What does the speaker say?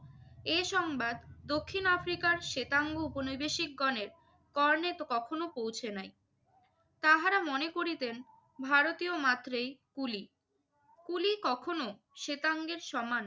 এ সংবাদ দক্ষিণ আফ্রিকার শেতাঙ্গ ঔপনিবেশিকগণের কর্ণে ক~ কখনো পৌঁছে নাই। তাহারা মনে করিতেন ভারতীয় মাত্রই কুলি। কুলি কখনো শেতাঙ্গের সমান